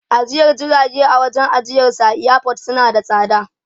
Ajiyar jirage a wajen ajiyarsu a airport na da tsada.